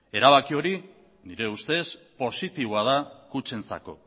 nire ustez erabaki hori positiboa da kutxentzako